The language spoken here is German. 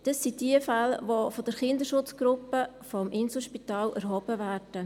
Das sind jene Fälle, die von der Kinderschutzgruppe des Inselspitals erhoben werden.